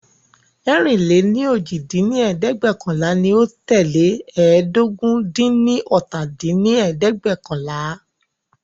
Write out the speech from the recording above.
ẹ̀rin-lé-ní-ojì dín ní ẹ̀ẹ́dẹ́gbẹ́ọ̀kànlá ní o tẹ́lẹ̀ ẹ́ẹdógún-dín-ní-ọ́ta dín ní ẹ̀ẹ́dẹ́gbẹ́ọ̀kànlá